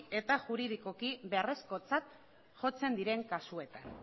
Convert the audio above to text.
eta juridikoki beharrezkotzat jotzen diren kasuetan